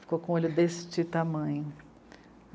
Ficou com o olho deste tamanho.